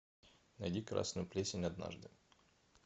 найди красную плесень однажды